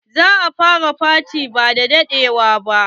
Za a fara faty ba da daɗewa ba.